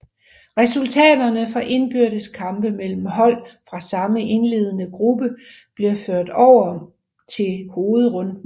Resultaterne fra indbyrdes kampe mellem hold fra samme indledende gruppe blev ført med over til hovedrunden